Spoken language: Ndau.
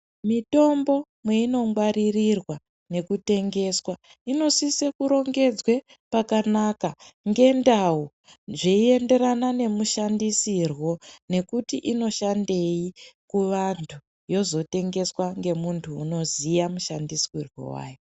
Mitombo imwe inongwaririrwa nekutengeswa. Inosise kurongedzwe pakanaka ngendawo zviyiyenderana nemushandisiro nekuti inoshandeyi kuvantu. Yozotengeswa ngemuntu unoziya mushandisiro wayo.